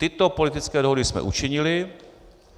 Tyto politické dohody jsme učinili.